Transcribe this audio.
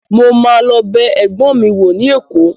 Mo ma lọ bẹ ẹgbọn mi wo ni Èkó.